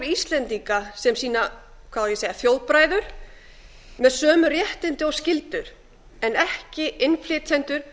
íslendinga sem sína hvað á ég að segja þjóðbræður með sömu réttindi og skyldur en ekki innflytjendur